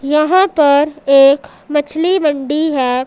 यहां पर एक मछली मंडी है।